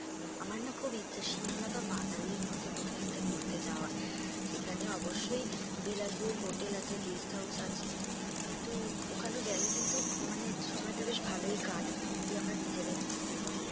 আমার না খুব ইচ্ছা সিমলা বা মানালির মধ্যে কোথায় একটা ঘুরতে যাওয়ার, সেখানে অবশ্যই বিলাস বহুল হোটেল আছে, guest house কিন্তু ওখানে গেলে কিন্তু মানে সময় টা বেশ ভালোই কাটবে যদি আমরা নিজেরা একটুখানি